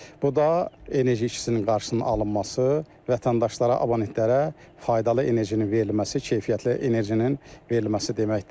Bu da enerji ikisinin qarşısının alınması, vətəndaşlara abonentlərə faydalı enerjinin verilməsi, keyfiyyətli enerjinin verilməsi deməkdir.